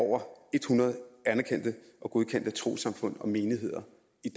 over hundrede anerkendte og godkendte trossamfund og menigheder